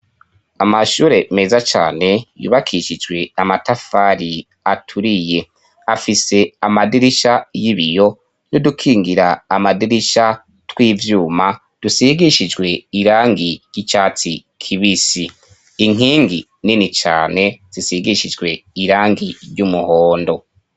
Amashure meza cane yubakishijwe amatafari aturiye; afise amadirisha y'ibiyo n' udukingira amadirisha tw'ivyuma dusigishijwe irangi ry'icyatsi kibisi. Inkingi nini cane zisigishijwe irangi ry'umuhondo.